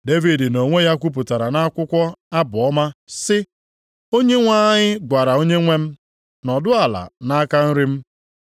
Devid nʼonwe ya kwupụtara nʼakwụkwọ Abụ Ọma, sị: “ ‘Onyenwe anyị gwara Onyenwe m, “Nọdụ ala nʼaka nri m